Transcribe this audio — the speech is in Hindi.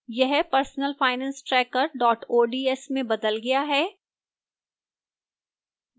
यह personalfinancetracker ods में बदल गया है